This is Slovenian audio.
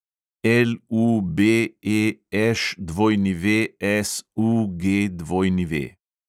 LUBEŠWSUGW